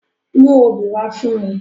Mú obí wa fun mi!